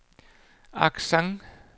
accent